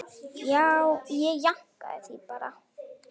Ég jánkaði því bara.